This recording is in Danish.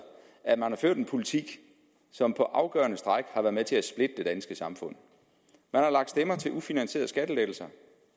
at man har ført en politik som på afgørende stræk har været med til at splitte det danske samfund man har lagt stemmer til ufinansierede skattelettelser